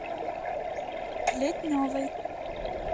плетневой